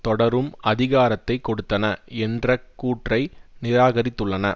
தொடரும் அதிகாரத்தை கொடுத்தன என்ற கூற்றை நிராகரித்துள்ளன